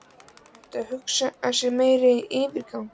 Er hægt að hugsa sér meiri yfirgang?